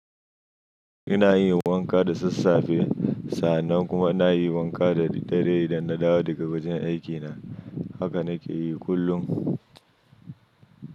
Ina yin wanka da sassafe. Sannan kuma na yi wanka da daddare idan na dawo daga wajen aikina. Haka na ke yi kullum.